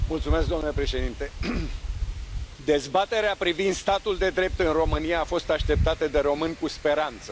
Domnule președinte, dezbaterea privind statul de drept în România a fost așteptată de români cu speranță.